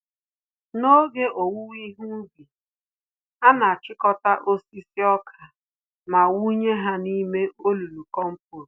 N'oge owuwe ihe ubi, anachịkọta osisi ọkà ma wụnye ha n'ime olulu kompost